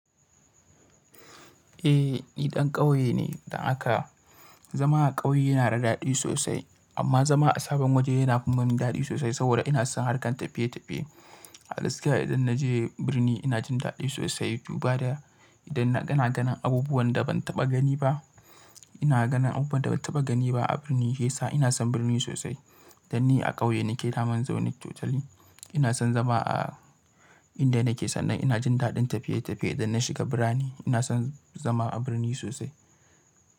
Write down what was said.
Eh ni dan ƙauye ne, da haka zama a ƙauye yana da daɗi sosai amma zama a sabon waje yana kuma min daɗi sosai saboda ina son harkan tafiye tafiye. A lazika idan naje birni ina jin daɗi sosai biuba da idan ina ganin abubuwan da ban taɓa gani ba. Ina ganin abubuwan da ban taɓa gani ba a birni yesa ina son birni sosai. Dan ni a ƙauye nike daman zone totally ina son zama a inda nake sannan ina jin daɗin tafiye tafiye idan na shiga birni ina son zama a birni sosai.